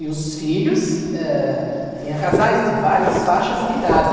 E os filhos, eh, tinha casais de várias faixas de idade.